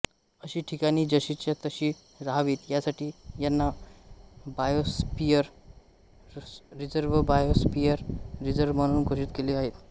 अशी ठिकाणी जशीच्या तशी रहावीत यासाठी यांना बायोस्फियर रिझर्वबायोस्फेअर रिझर्व म्हणून घोषित केले आहेत्